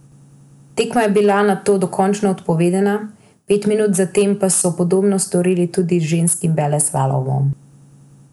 Tekma je bila nato dokončno odpovedana, pet minut zatem pa so podobno storili tudi z ženskim superveleslalomom.